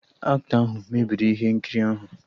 Aktọ ahụ mebiri ihe nkiri ahụ